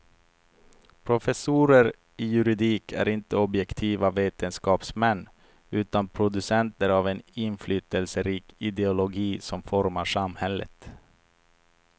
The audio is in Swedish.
Professorer i juridik är inte objektiva vetenskapsmän utan producenter av en inflytelserik ideologi som formar samhället.